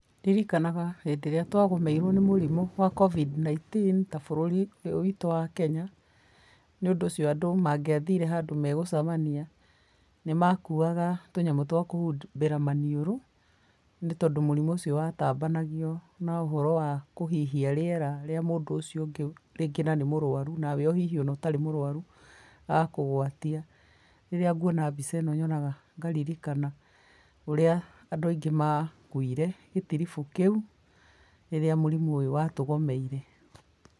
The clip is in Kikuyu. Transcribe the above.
Ndirikanaga hĩndĩ ĩrĩa twagũmĩirwo nĩ mũrimũ wa COVID 19 ta bũrũri ũyũ witũ wa Kenya nĩũndũ ũcio andũ mangĩathire handũ megũcemania nĩmakuaga tũnyamũ twa kũhumbĩra maniũrũ nĩtondũ mũrimũ ũcio watambanagio na ũhoro wa kũhihia rĩera rĩa mũndũ ũcio ũngĩ rĩngĩ na nĩ mũrwaru nawe ona hihi ũtarĩ mũrwaru agakũgwatia. Rĩrĩa nguona mbica ĩno nyonaga ngaririkana ũrĩa andũ aingĩ makuire gĩtirubũ kĩũ rĩrĩa mũrimũ ũcio watũgomeire.